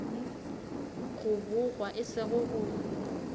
go bogwa e sego go